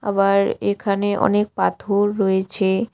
আবার এখানে অনেক পাথর রয়েছে।